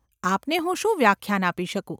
આપને હું શું વ્યાખ્યાન આપી શકું?